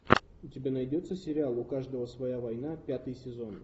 у тебя найдется сериал у каждого своя война пятый сезон